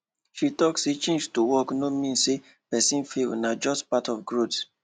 she talk say change to work no mean say person fail na just part of growth